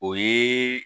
O ye